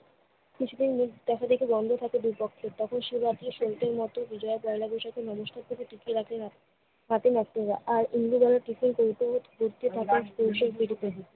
কিছুদিন মুখ দেখাদেখি বন্ধ থাকে দুই পক্ষের। তখন সে জাতীয় শহিদের মতো বিজয়া পহেলা বৈশাখে মনুষ্যত্বকে টিকিয়ে রাখে ফাতেমা আফরোজা। আর ইন্দুবালার ভীষণ কৌতূহল তুলসির প্রদীপে